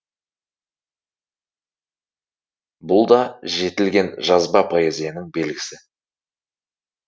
бұл да жетілген жазба поэзияның белгісі